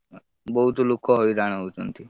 ବହୁତ ଲୋକ ହଇରାଣ ହଉଛନ୍ତି।